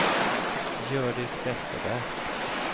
Hjördis Vesterberg